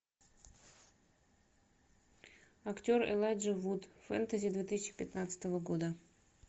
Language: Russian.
актер элайджа вуд фэнтези две тысячи пятнадцатого года